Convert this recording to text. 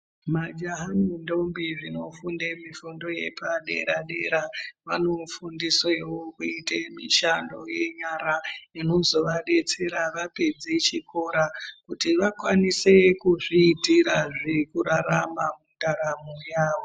Majaha nendombi zvinofunde mifundo yepadera-dera vanofundiswewo kuite mishando yenyara inozovadetsera vapedze chikora, kuti vakwanise kuzviitira zvekurarama mundaramo yavo.